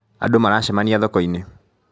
Andũ maracemania thoko-inĩ